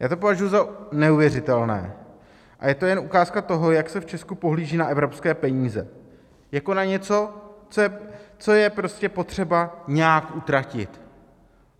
Já to považuji za neuvěřitelné a je to jen ukázka toho, jak se v Česku pohlíží na evropské peníze - jako na něco, co je prostě potřeba nějak utratit.